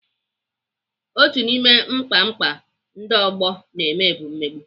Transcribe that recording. Otu n'ime mkpamkpa ndị ọgbọ na-eme bụ mmegbu.